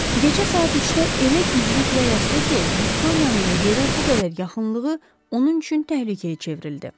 Gecə saat 3-də elə güclü külək əsdi ki, Viktoriyanın yerə bu qədər yaxınlığı onun üçün təhlükəyə çevrildi.